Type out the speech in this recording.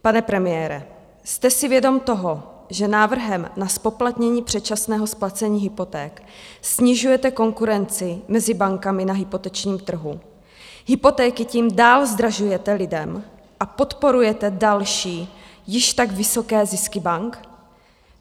Pane premiére, jste si vědom toho, že návrhem na zpoplatnění předčasného splacení hypoték snižujete konkurenci mezi bankami na hypotečním trhu, hypotéky tím dál zdražujete lidem a podporujete další již tak vysoké zisky bank?